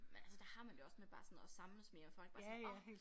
Men altså der har men det jo også med bare sådan at samles mere med folk bare sådan åh